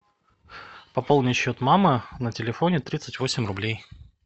пополнить счет мамы на телефоне тридцать восемь рублей